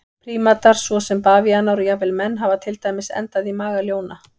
Prímatar svo sem bavíanar og jafnvel menn hafa til dæmis endað í maga ljóna.